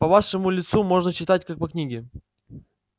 по вашему лицу можно читать как по книге